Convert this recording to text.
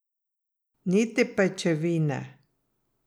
Niti pajčevine.